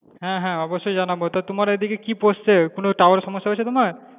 হ্যাঁ হ্যাঁ অবশই জানাবো, তা তোমার এইদিকে কি পড়ছে কোনো tower এর সমস্যা হয়েছে তোমার?